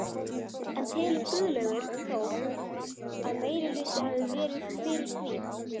En telur Guðlaugur Þór að meirihluti hafi verið fyrir því?